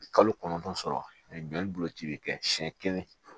Kalo kɔnɔntɔn sɔrɔ ani jolici bɛ kɛ siɲɛ kelen